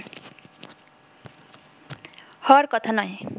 হওয়ার কথা নয়